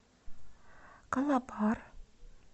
калабар